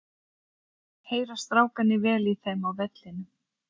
Heyra strákarnir vel í þeim á vellinum?